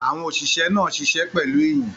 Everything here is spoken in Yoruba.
Àwọn òṣìṣẹ́ náà ṣiṣẹ́ pẹ̀lú ìyìn.